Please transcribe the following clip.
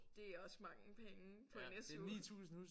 Det er også mange penge på en SU